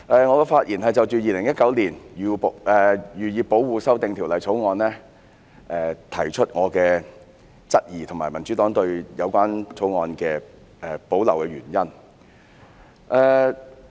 我的發言是對《2019年漁業保護條例草案》提出質疑，以及闡述民主黨對《條例草案》有保留的原因。